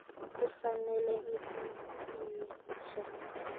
kufanele ibe yinsha